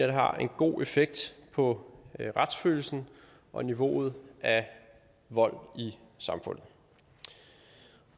det har en god effekt på retsfølelsen og niveauet af vold i samfundet